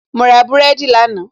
mo ra búrẹ́dì lánàá